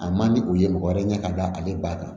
A man di u ye mɔgɔ wɛrɛ ɲɛ ka da ale ba kan